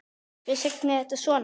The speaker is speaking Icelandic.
Hvers vegna er þetta svona?